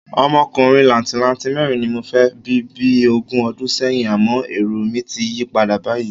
Ọmọkùnrin làǹtìlanti mẹ́rin ni mo fẹ́ bí bí ogún ọdún sẹ́yìn, àmọ́ èrò mi ti yí padà báyìí.